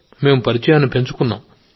మేం పరిచయాన్ని పెంచుకున్నాం